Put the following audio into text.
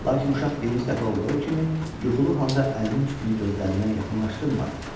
Lakin uşaq birinci dəfə olduğu kimi yuxulu halda əlinin üstünü gözlərinə yaxınlaşdırmadı.